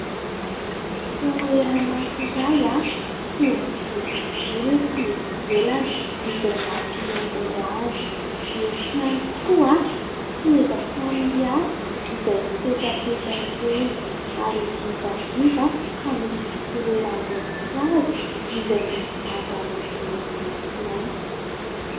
Toerana anankiray feno jirojiro ety ivelany izay mampihaingo azy. Misy ihany koa seza samihafa izay mipetrapetraka eny ary indrindra indrindra fa misy fitoeram-boninkazo izay misy zava-maniry maitsomaitso.